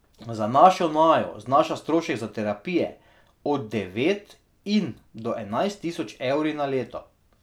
Za našo Najo znaša strošek za terapije od devet in do enajst tisoč evri na leto.